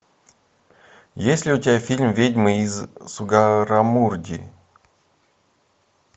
есть ли у тебя фильм ведьмы из сугаррамурди